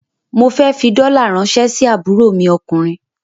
Mo fẹ́ fi dollar ràńṣẹ́ sí àbúrò mi ọkùnrin.